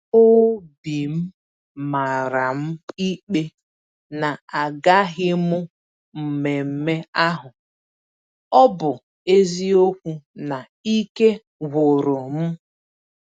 Obim màràm ikpe na agaghịm mmemmé ahụ, ọbụ eziokwu na Ike gwụrụ m.